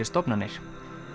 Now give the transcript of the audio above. stofnanir